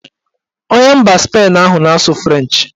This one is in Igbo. Onye mba Spain ahụ na-asụ frenchị